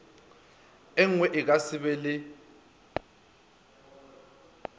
engwe a ka sebe le